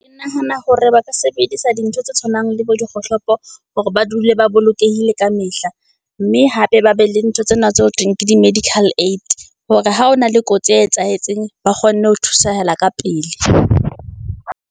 Ke nahana hore ba ka sebedisa di ntho tse tshwanang le bo dikgohlopo hore ba dule ba bolokehile kamehla. Mme hape ba be le ntho tsena tse ho thweng ke di medical aid hore ha ho na le kotsi e etsahetseng, ba kgone ho thusahala ka pele.